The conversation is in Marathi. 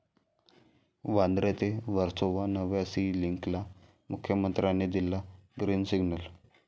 वांद्रे ते वर्सोवा नव्या 'सी लिंक'ला मुख्यमंत्र्यांनी दिला 'ग्रिन सिग्नल'